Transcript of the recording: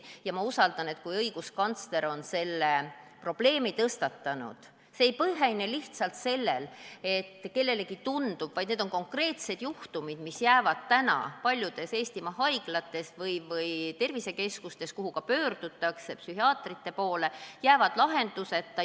Ja ma usun, et kui õiguskantsler on selle probleemi tõstatanud, siis ei põhine see lihtsalt kellegi tundel, vaid tegemist on konkreetsete juhtumitega, mis jäävad täna paljudes Eestimaa haiglates või tervisekeskustes, kuhu samuti pöördutakse psühhiaatrilise abi saamiseks, lahenduseta.